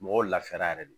Mɔgɔw lafiyara yɛrɛ de